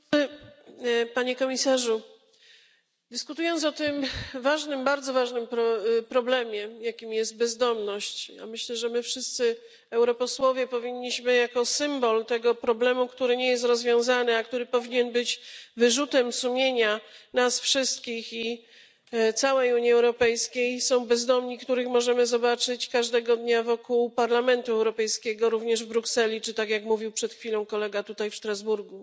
Panie Przewodniczący! Panie Komisarzu! Dyskutujemy dziś o ważnym, bardzo ważnym problemie, jakim jest bezdomność. Myślę, że dla nas, europosłów, symbolem tego problemu, który nie jest rozwiązany i który powinien być wyrzutem sumienia nas wszystkich i całej Unii Europejskiej, są bezdomni, których możemy zobaczyć każdego dnia wokół Parlamentu Europejskiego również w Brukseli czy, tak jak mówił przed chwilą kolega, tutaj w Strasburgu.